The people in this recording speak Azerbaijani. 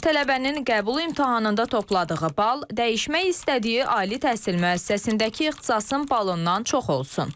Tələbənin qəbul imtahanında topladığı bal dəyişmək istədiyi ali təhsil müəssisəsindəki ixtisasın balından çox olsun.